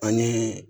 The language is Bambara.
Ani